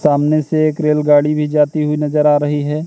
सामने से एक रेलगाड़ी भी जाती हुई नजर आ रही है।